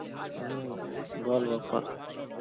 হম বল বাপ্পা